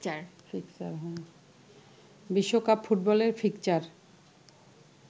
বিশ্বকাপ ফুটবলের ফিকশ্চার